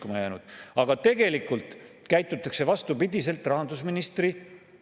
Nüüd ju 20%-lt tõstetakse 22%-le, nii et ta jäi ajutiselt 20%-le 15 aastaks.